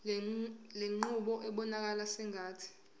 lenqubo ibonakala sengathi